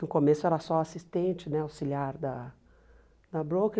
No começo era só assistente, né auxiliar da da broker.